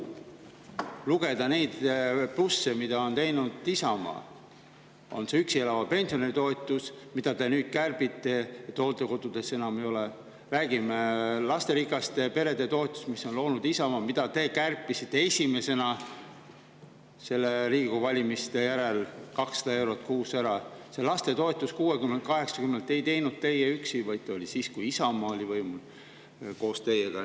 Kui lugeda üles plusse, mida on teinud Isamaa, siis on need: üksi elava pensionäri toetus, mida te nüüd kärbite, nii et hooldekodudes seda enam; lasterikaste perede toetus, mille on loonud Isamaa ja millest te kärpisite esimesena 200 eurot kuus Riigikogu valimiste järel; ja lastetoetuse 60 eurolt 80 eurole, mida ei teinud teie üksi, vaid tegite siis, kui Isamaa oli võimul koos teiega.